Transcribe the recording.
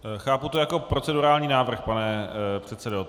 Chápu to jako procedurální návrh, pane předsedo.